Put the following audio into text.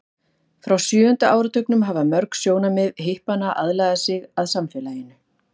frá sjöunda áratugnum hafa mörg sjónarmið hippanna aðlagað sig að samfélaginu